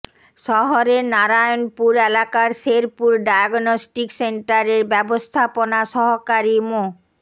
শহরের নারায়ণপুর এলাকার শেরপুর ডায়াগনস্টিক সেন্টারের ব্যবস্থাপনা সহকারী মো